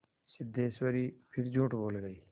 सिद्धेश्वरी फिर झूठ बोल गई